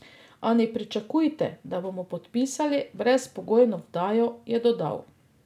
A ne pričakujte, da bomo podpisali brezpogojno vdajo, je dodal.